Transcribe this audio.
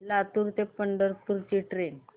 लातूर ते पंढरपूर ची ट्रेन